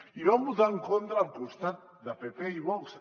i hi van votar en contra al costat de pp i vox